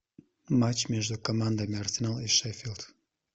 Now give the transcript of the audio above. матч между командами арсенал и шеффилд